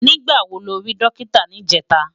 Nigbá wó ló ri Dòkitá nijètá?